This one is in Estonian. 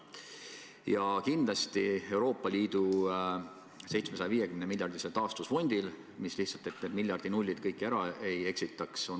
Ja kindlasti on Euroopa Liidu 750-miljardilisel taastusfondil praegu väga oluline koht Euroopa Liidu majanduse taaskäivitamisel.